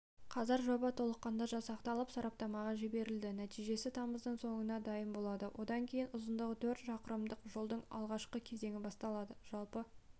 қазір жоба толыққанды жасақталып сараптамаға жіберілді нәтижесі тамыздың соңында дайын болады содан кейін ұзындығы төрт шақырымдық жолдың алғашқы кезеңі басталады жалпы